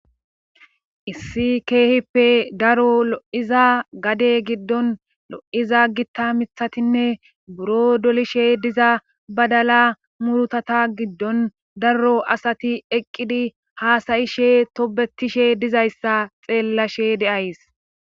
Issi keehippe daro lo7iza gade giddon lo7iza gitta mithatinne buro dolishe diza badala murutata giddon darro asati eqqidi haasayishe tobetishe dizayssa xeellashe deays